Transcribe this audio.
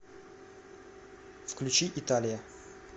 включи италия